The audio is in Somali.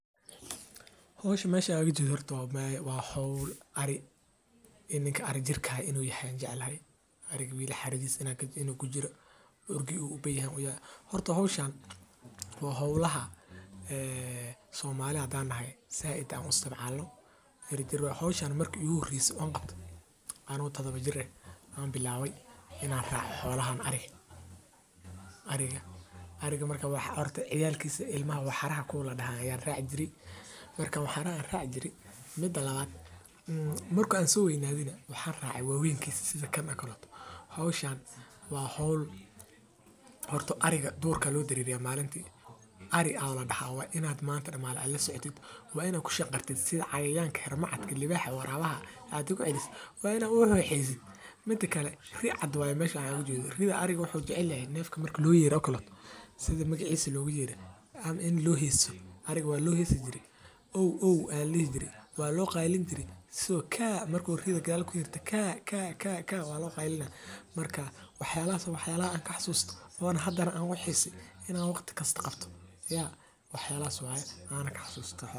Howshan aan mesha oga jeeda horta waa xoola ari iyo ninki ari jirka inu yahay ayan jeclahay ariga wali xaradiisa inu kujiro orgi u bey ah horta howshan waa howlaha ee soomali hadan nahay zaiid aan u isticmalno ari jir waye howshan marki igu horeyse oon qabto ano tadabo jir baan bilaway inaan raco xolahan ariga. Ariga horta ciyalkiisa ilmaha waxaraha kuwa ladaha ayan raaci jire marka waxaraha aan raaci jire mida lawaad marki aan soweynaade waxaan raacay waaweynka sida kan oo kaleto howshan waa howl horta ariga durka loodareriya malinti ari aa ladaha waa ina manta damaala aa lasocotid waa ina kushanqartid sida cayanka, hermacadka, libaxa, warabaha aad oga celiso waa ina walwaxeysid midakale ri cad waye meshan waxan oga jedo rida ariga waxuu jecelyahay nefka marki looyero oo kala sidi magaciisa loguyeera in loo heeso ariga waa lohesi jiray ow ow aya ladihi jire waa lo qaylin jire so kaa marki rida gadal kayerto kaa kaa kaa waa lo qaylina marka waxyalahas waxyala aan kaxasusta oona hadana aan u xiise inaan waqti kasta qabta iya waxyalahas waye ana kaxasusta xoolaha